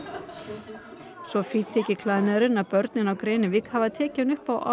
svo fínn þykir klæðnaðurinn að börnin á Grenivík hafa tekið hann upp á árlegum